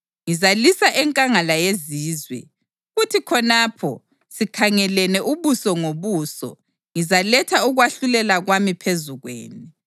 Ngizalisa enkangala yezizwe, kuthi khonapho sikhangelene ubuso ngobuso, ngizaletha ukwahlulela kwami phezu kwenu.